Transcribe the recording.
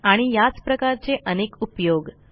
आणि याचप्रकारचे अनेक उपयोग